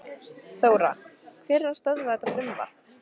Þóra: Hver er að stöðva þetta frumvarp?